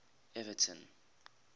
everton